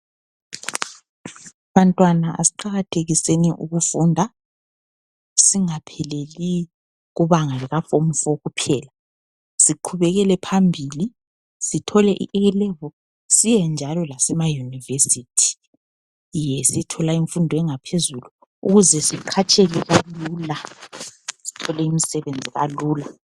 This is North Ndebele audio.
Bantwana asiqakathekiseni ukufunda. Singapheleli kubanga likaform 4 kuphela siqhubekele phambili sithole i”A” Level, siyenjalo lasemaUniversity. Yiyo esiyitholayo imfundo yangaphezulu ukuze siqhatsheke kalula sithole imisebenzi kakula.